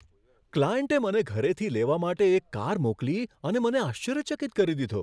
ક્લાયન્ટે મને ઘરેથી લેવા માટે એક કાર મોકલી અને મને આશ્ચર્યચકિત કરી દીધો.